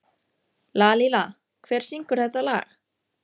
Lalíla, hver syngur þetta lag?